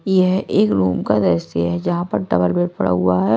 यह एक रूम का दृश्य है जहां पर डबल बेड पड़ा हुआ है।